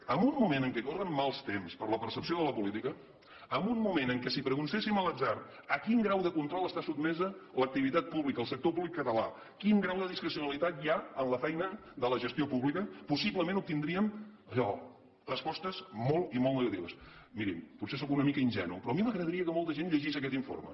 en un moment en què corren mals temps per a la percepció de la política en un moment en què si preguntéssim a l’atzar a quin grau de control està sotmesa l’ac tivitat pública el sector públic català quin grau de discrecionalitat hi ha en la feina de la gestió pública possiblement obtindríem allò respostes molt i molt negatives mirin potser sóc una mica ingenu però a mi m’agradaria que molta gent llegís aquest informe